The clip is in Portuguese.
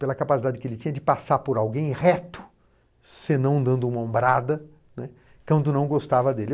Pela capacidade que ele tinha de passar por alguém reto, senão dando uma ombrada, né, quando não gostava dele.